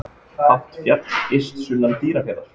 Hátt fjall yst sunnan Dýrafjarðar.